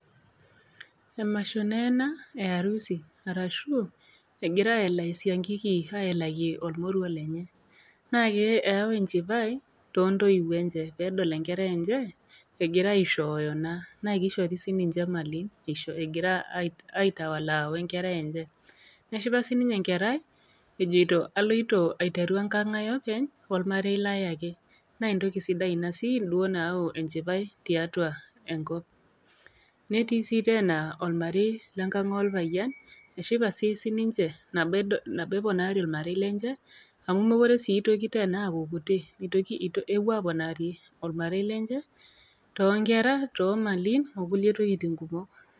Emasho naa ena e harusi, arashu egira aelaaa esiankiki aelaki olmoruo lenye. Naake eyau enchipai to intoiwuo enye tenedol enkerai enye egira aishooyo naa, naa keishori sii ninye imalin egira aitawalaa we enkerai enye. Neshipa sininye enkerai ejoito aloito aiteru enkang' ai openy o olmarei lai ake, naa entoki sidai sii duo ina nayau enchipai tiatua enkop. Netii sii teena olmarei lenkang' olpayian eshipa sii sininche nabo edol eponaari naa olmarei lenye amu mekure sii teena aaku kuti, epuo aponaari olmarei lenye too inkerra, too imalin o kulie tokitin kumok.